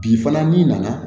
Bi fana n'i nana